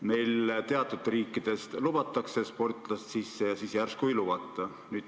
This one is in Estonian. Meile lubatakse teatud riikidest sportlasi sisse ja siis järsku ei lubata.